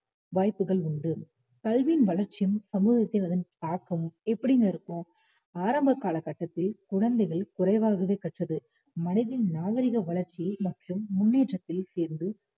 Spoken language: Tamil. வாய்ப்புகள் உண்டு கல்வியின் வளர்ச்சியும் சமூகத்தில் அதன் தாக்கம் எப்படிங்க இருக்கும் ஆரம்ப காலகட்டத்தில் குழந்தைகள் குறைவாகவே கற்றது மனிதனின் நாகரீக வளர்ச்சி மற்றும் முன்னேற்றத்தில் சேர்ந்து